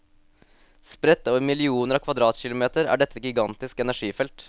Spredt over millioner av kvadratkilometer er dette et gigantisk energifelt.